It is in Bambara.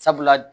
Sabula